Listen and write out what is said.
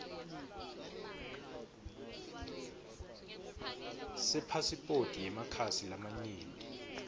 sepasiphoti yemakhasi lamanyenti